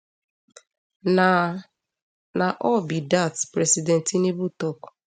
na na all be dat president tinubu tok